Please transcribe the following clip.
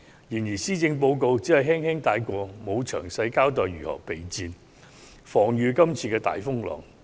然而，施政報告只是輕輕帶過，沒有詳細交代當局如何備戰，抵禦這次的大風浪。